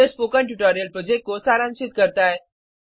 यह spoken tutorial project को सारांशित करता है